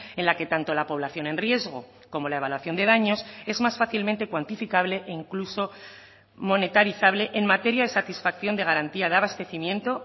en la que tanto la población en riesgo como la evaluación de daños es más fácilmente cuantificable e incluso monetarizable en materia de satisfacción de garantía de abastecimiento